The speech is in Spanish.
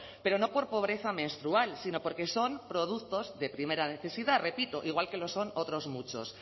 pero no por pobreza menstrual sino porque son productos de primera necesidad repito igual que lo son otros muchos